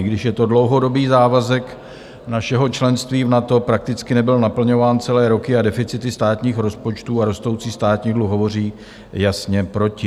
I když je to dlouhodobý závazek našeho členství v NATO, prakticky nebyl naplňován celé roky a deficity státních rozpočtů a rostoucí státní dluh hovoří jasně proti.